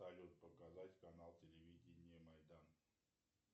салют показать канал телевидения майдан